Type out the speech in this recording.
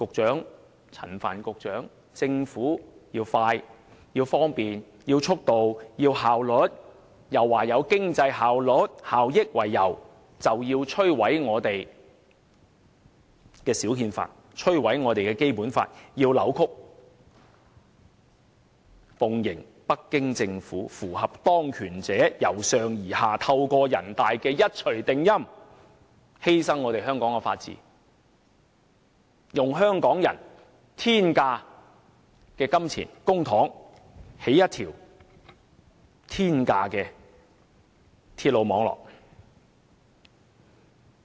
陳帆局長和政府要求方便、速度和效率，又以經濟效益為由摧毀我們的小憲法、扭曲《基本法》，奉迎北京政府，符合當權者由上而下透過人大的一錘定音，犧牲香港的法治，用香港人的公帑興建天價的鐵路網絡。